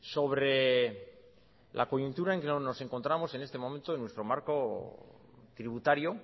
sobre la coyuntura en que nos encontramos en este momento en nuestro marco tributario